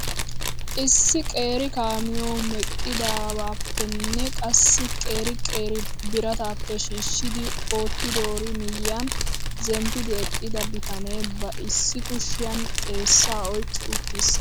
Issi qeeri kaamiyoo meqqidaabappenne qassi qeeri qeeri birataappe shhishidi oottidoori miyiyaan zemppidi eqqida bitanee ba issi kushiyaan xeessaa oyqqi uttiis.